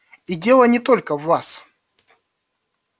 и дело не только в вас